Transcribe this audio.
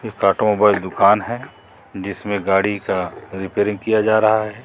एक ऑटोमोबाइल दुकान है जिसमें गाड़ी का रिपेयरिंग किया जा रहा है।